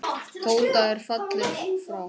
Tóta er fallin frá.